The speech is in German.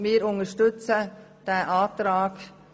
Wir unterstützen diesen Antrag.